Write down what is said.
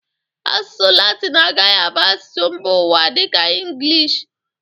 Asụsụ latin agaghi abụ asụsụ mba ụwa dịka ịngịlịsh.